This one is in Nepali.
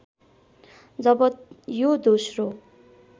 जब यो दोस्रो